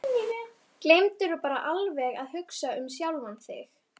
Gleymdirðu bara alveg að hugsa um sjálfan þig?